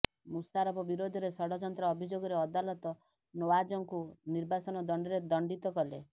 ମୁସାରଫ ବିରୋଧରେ ଷଡଯନ୍ତ୍ର ଅଭିଯୋଗରେ ଅଦାଲତ ନୱାଜଙ୍କୁ ନିର୍ବାସନ ଦଣ୍ଡରେ ଦଣ୍ଡିତ କଲେ